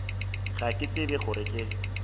ga ke tsebe gore ke